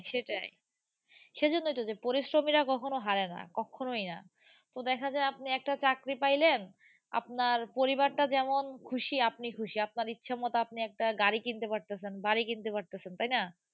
সেটাই সেই জন্য তো, পরিশ্রমীরা কখনো হারে না। কক্ষনোই না। তো দেখা যায় আপনি একটা চাকরি পাইলেন, আপনার পরিবারটা যেমন খুশি আপনি খুশি। আপনি ইচ্ছেমতো আপনি একটা গাড়ি কিনতে পারতেছেন, বাড়ি কিনতে পারতেছেন। তাই না?